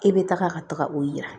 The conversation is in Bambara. E bɛ taga ka taga o yira